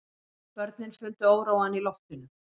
Börnin fundu óróann í loftinu.